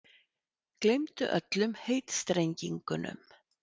Gleymdu öllum heitstrengingum.